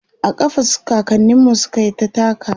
a ƙafa kakaninmu sukyita takawa